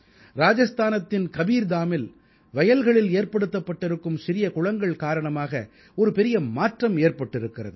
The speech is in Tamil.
ராஜஸ்தானத்தின் கபீர்தாமில் வயல்களில் ஏற்படுத்தப்பட்டிருக்கும் சிறிய குளங்கள் காரணமாக ஒரு பெரிய மாற்றம் ஏற்பட்டிருக்கிறது